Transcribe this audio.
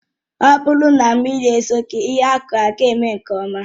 Ọ bụrụ na mmiri ezoghị, ihe akụrụ agaghị eme nke ọma